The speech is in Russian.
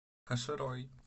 каширой